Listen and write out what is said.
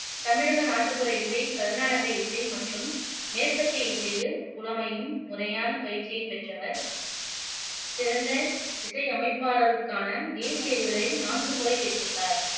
தமிழக நாட்டுப்புற இசை, கருநாடக இசை மற்றும் மேற்கத்திய இசையில், புலமையும், முறையான பயிற்சியும் பெற்றவர் சிறந்த இசையமைப்பாளருக்கான தேசிய விருதை நான்கு முறை பெற்றுள்ளார்